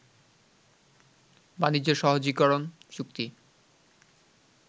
বাণিজ্য সহজীকরণ চুক্তি